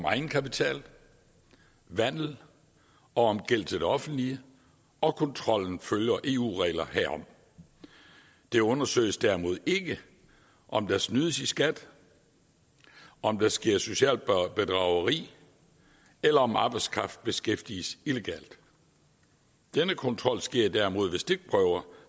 egenkapital vandel og gæld til offentlige og kontrollen følger eu regler herom det undersøges derimod ikke om der snydes i skat om der sker socialt bedrageri eller om arbejdskraft beskæftiges illegalt denne kontrol sker derimod ved stikprøver